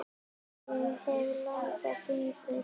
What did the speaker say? Ég hef langa fingur.